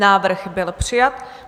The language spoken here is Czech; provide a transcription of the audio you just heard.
Návrh byl přijat.